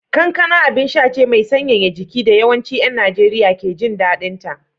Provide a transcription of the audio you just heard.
Kankana abinsha ce mai sanyaya jiki da yawancin ‘yan Najeriya ke jin daɗinta